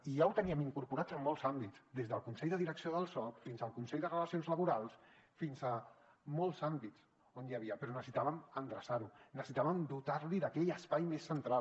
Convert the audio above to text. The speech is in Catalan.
i ja ho teníem incorporat en molts àmbits des del consell de direcció del soc fins al consell de relacions laborals fins a molts àmbits on hi era però necessitàvem endreçar ho necessitàvem dotar lo d’aquell espai més central